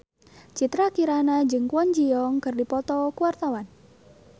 Citra Kirana jeung Kwon Ji Yong keur dipoto ku wartawan